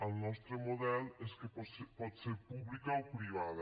el nostre model és que pot ser pública o privada